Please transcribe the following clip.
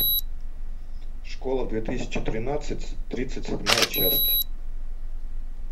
школа две тысячи тринадцать тридцать седьмая часть